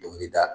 Dɔnkili da